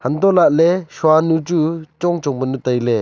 antoh lahle shuanu chu chong chong panu taile.